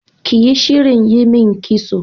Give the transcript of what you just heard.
Kiyi shirin yimin kitso